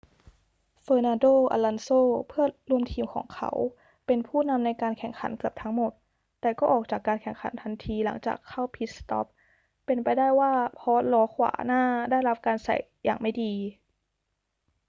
fernando alonso เพื่อนร่วมทีมของเขา เป็นผู้นำในการแข่งขันเกือบทั้งหมด แต่ก็ออกจากการแข่งขันทันทีหลังจากเข้าพิทสต็อป เป็นไปได้ว่าเพราะล้อขวาหน้าได้รับการใส่อย่างไม่ดี